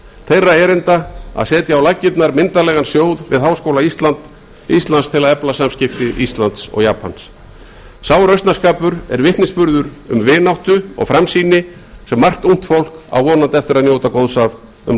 þeirra erinda að setja á laggirnar myndarlegan sjóð við háskóla íslands til að efla samskipti íslands og japans sá rausnarskapur er vitnisburður um vináttu og framsýni sem margt ungt fólk á vonandi eftir að njóta góðs af um